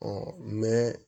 Ɔ